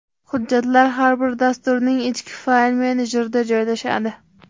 Hujjatlar har bir dasturning ichki fayl menejerida joylashadi.